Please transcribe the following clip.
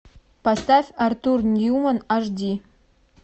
поставь артур ньюман аш ди